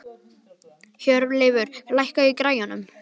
Hjörleifur, lækkaðu í græjunum.